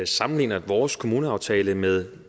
sammenligner vores kommuneaftale med